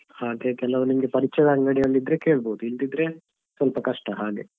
ಆದ್ರೆ ಕೆಲವು ನಿಮ್ಗೆ ಪರಿಚಯದ ಅಂಗಡಿಯಲ್ಲಿ ಇದ್ರೆ ಕೇಳ್ಬೋದು ಇಲ್ಲದಿದ್ರೆ ಸ್ವಲ್ಪ ಕಷ್ಟ ಹಾಗೆ ಹಾ.